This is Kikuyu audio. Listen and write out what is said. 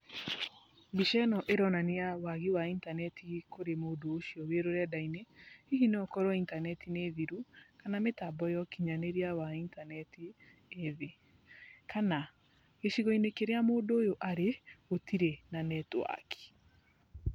Mbica ĩno ĩronania wagi wa intaneti kũrĩ mũndũ ũcio ũrĩ rũrenda-inĩ. Hihi no ũkorwo intaneti nĩ thiru, kana mĩtambo ya ũkinyanĩria wa intaneti ĩ thĩ, kana gĩcigo-inĩ kĩrĩa mũndũ ũyũ arĩ gũtirĩ na netiwaki.